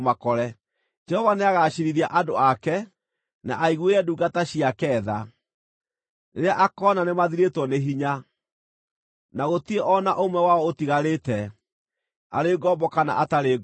Jehova nĩagaciirithia andũ ake, na aiguĩre ndungata ciake tha, rĩrĩa akoona nĩmathirĩtwo nĩ hinya, na gũtirĩ o na ũmwe wao ũtigarĩte, arĩ ngombo kana atarĩ ngombo.